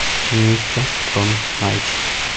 мистер джон найти